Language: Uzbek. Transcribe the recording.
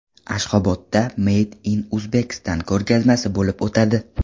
Ashxobodda Made in Uzbekistan ko‘rgazmasi bo‘lib o‘tadi.